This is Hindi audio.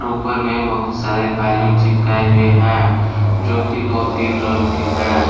ऊपर में बहुत सारे बैलून चिपकाए हुए हैं जो कि दो तीन रंग के है।